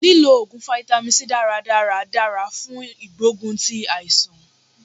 Lí lo Ògùn fáítámì C dáradára dára fún ìgbógun ti àìsàn.